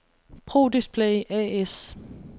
Pro Display A/S